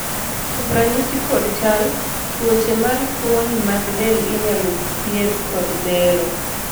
kuom ranyisi kod chal, tuoche mar fuoni mag del inyalo thiedh kod bero